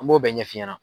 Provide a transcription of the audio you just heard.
An b'o bɛɛ ɲɛfi ɲɛna